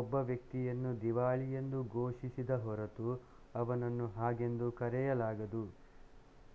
ಒಬ್ಬ ವ್ಯಕ್ತಿಯನ್ನು ದಿವಾಳಿಯೆಂದು ಘೋಷಿಸಿದ ಹೊರತು ಅವನನ್ನು ಹಾಗೆಂದು ಕರೆಯಲಾಗದು